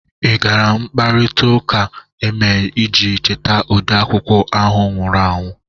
Ị gara mkparịtaụka emere iji cheta ode akwụkwọ ahụ nwụrụ anwụ?